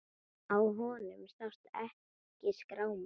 Á honum sást ekki skráma.